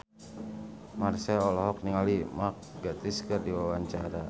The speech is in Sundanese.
Marchell olohok ningali Mark Gatiss keur diwawancara